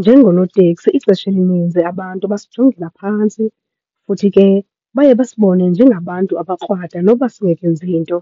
Njengonoteksi ixesha elininzi abantu basijongela phantsi futhi ke baye basibone njengabantu abakrwada noba singekenzi nto.